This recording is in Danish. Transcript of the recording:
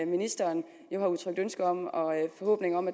ministeren jo har udtrykt ønske og forhåbning om